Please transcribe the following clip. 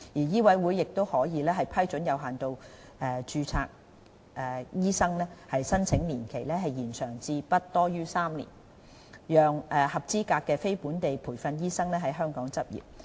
醫委會亦可批准有限度註冊醫生的申請年期延長至不多於3年，讓合資格的非本地培訓醫生在香港執業。